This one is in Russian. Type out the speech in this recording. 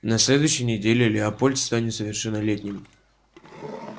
на следующей неделе лепольд станет совершеннолетним